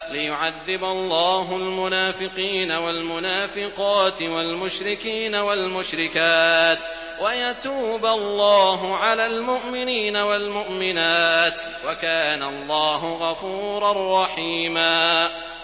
لِّيُعَذِّبَ اللَّهُ الْمُنَافِقِينَ وَالْمُنَافِقَاتِ وَالْمُشْرِكِينَ وَالْمُشْرِكَاتِ وَيَتُوبَ اللَّهُ عَلَى الْمُؤْمِنِينَ وَالْمُؤْمِنَاتِ ۗ وَكَانَ اللَّهُ غَفُورًا رَّحِيمًا